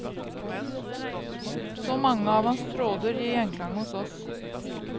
Så mange av hans tråder gir gjenklang hos oss.